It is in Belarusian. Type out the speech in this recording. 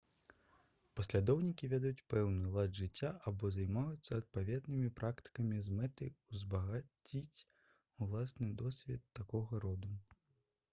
паслядоўнікі вядуць пэўны лад жыцця або займаюцца адпаведнымі практыкамі з мэтай узбагаціць уласны досвед такога роду